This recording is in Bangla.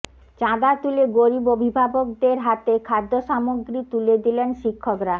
চাঁদা তুলে গরিব অভিভাবকদের হাতে খাদ্যসামগ্রী তুলে দিলেন শিক্ষকরা